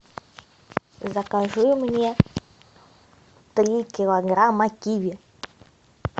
закажи мне три килограмма киви